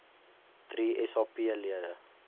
drie sap lede